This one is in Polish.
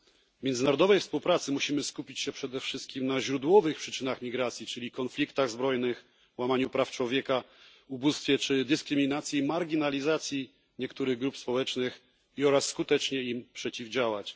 W międzynarodowej współpracy musimy skupić się przede wszystkim na źródłowych przyczynach migracji, czyli konfliktach zbrojnych, łamaniu praw człowieka, ubóstwie czy dyskryminacji i marginalizacji niektórych grup społecznych, oraz skutecznie im przeciwdziałać.